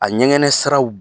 A ɲɛgɛnɛ siraw